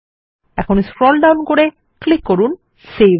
এখন scroll down করে click করুন সেভ